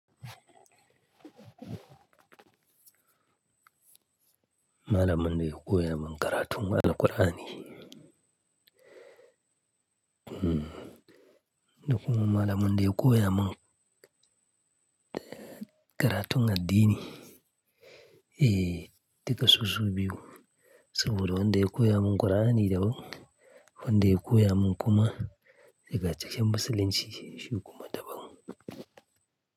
Malamin daya koya min karatun Alqur'ani. Dokon malami na ya koya min karatun addini,, dukasu su biyu. Saboda wan da ya koya min Qur'ani daban, wanda ya koya min kuma ya ga cikin musulinci shi kuma daban.